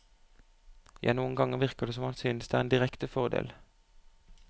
Ja, noen ganger virker det som om han synes det er en direkte fordel.